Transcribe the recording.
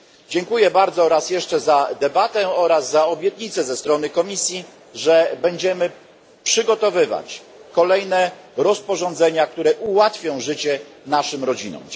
Dziękuję bardzo raz jeszcze za debatę oraz za obietnicę ze strony Komisji, że będziemy przygotowywać kolejne rozporządzenia, które ułatwią życie naszym rodzinom.